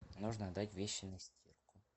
нужно отдать вещи на стирку